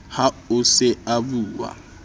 ha o se o bua